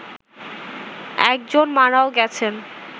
একজন মারাও গেছেন